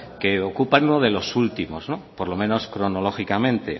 que ocupa uno de los últimos por lo menos cronológicamente